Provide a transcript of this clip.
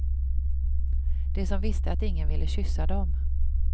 De som visste att ingen ville kyssa dem.